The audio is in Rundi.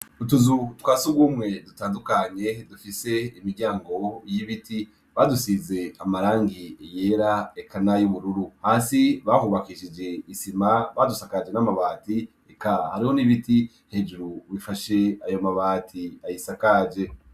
Utuzu twasugumwe dutandukanye dufise imiryango y'ibiti, badusize amarangi yera eka nay'ubururu hasi bahubakishije isima badusakaje n'amabati eka hariho n'ibiti hejuru bifashe ayo mabati ayisakaje.